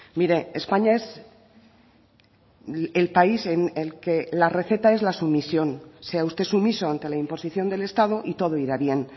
mire españa es el país en el que la receta es la sumisión sea usted sumiso ante la imposición del estado y todo irá bien